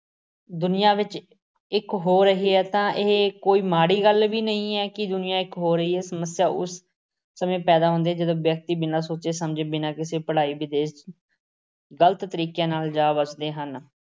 ਦੁਨੀਆਂ ਵਿੱਚ ਇੱਕ ਹੋ ਰਹੀ ਹੈ ਤਾਂ ਇਹ ਕੋਈ ਮਾੜੀ ਗੱਲ ਵੀ ਨਹੀਂ ਹੈ ਕਿ ਦੁਨੀਆ ਇੱਕ ਹੋ ਰਹੀ ਹੈ। ਸਮੱਸਿਆ ਉਸ ਸਮੇਂ ਪੈਦਾ ਹੁੰਦੀ ਹੈ ਜਦੋਂ ਵਿਅਕਤੀ ਬਿਨਾਂ ਸਚੇ-ਸਮਝੇ, ਬਿਨਾਂ ਕਿਸੇ ਪੜ੍ਹਾਈ ਦੇ ਗਲਤ ਤਰੀਕਿਆਂ ਨਾਲ ਜਾ ਵੱਸਦੇ ਹਨ।